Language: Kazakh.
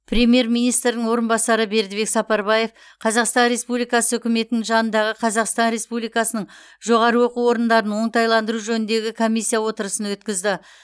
премьер министрдің орынбасары бердібек сапарбаев қазақстан республикасы үкіметінің жанындағы қазақстан республикасының жоғары оқу орындарын оңтайландыру жөніндегі комиссия отырысын өткізді